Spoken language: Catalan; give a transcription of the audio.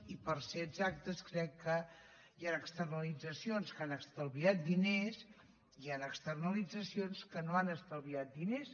i per ser exactes crec que hi han externalitzacions que han estalviat diners i hi han externalitzacions que no han estalviat diners